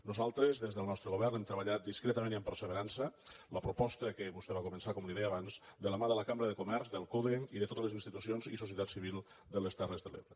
nosaltres des del nostre govern hem treballat discre·tament i amb perseverança en la proposta que vostè va començar com li deia abans de la mà de la cambra de comerç del code i de totes les institucions i socie·tat civil de les terres de l’ebre